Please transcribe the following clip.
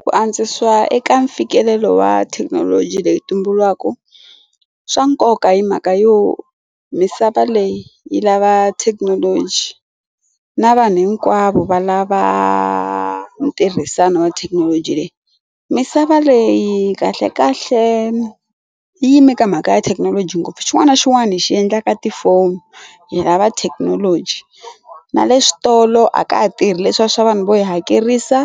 Ku antswisa eka mfikelelo wa thekinoloji leyi tumbulukaka swa nkoka hi mhaka yo misava leyi yi lava thekinoloji na vanhu hinkwavo va lava ntirhisano wa thekinoloji leyi misava leyi kahle kahle yime ka mhaka ya thekinoloji ngopfu xin'wana na xin'wana hi xi endla ka tifoni hi lava thekinoloji na le switolo a ka ha tirhi leswiya swa vanhu vo hi hakerisa